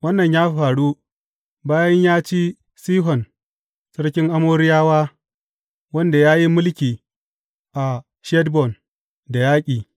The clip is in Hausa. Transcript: Wannan ya faru bayan ya ci Sihon sarkin Amoriyawa wanda ya yi mulki a Heshbon da yaƙi.